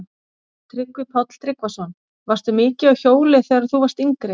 Tryggvi Páll Tryggvason: Varstu mikið á hjóli þegar þú varst yngri?